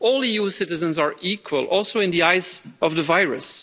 All EU citizens are equal, also in the eyes of the virus.